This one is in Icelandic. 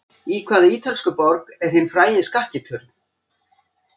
Í hvaða ítölsku borg er hinn frægi Skakki turn?